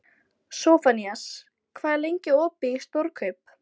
Sophanías, hvað er lengi opið í Stórkaup?